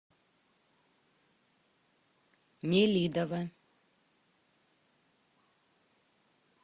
нелидово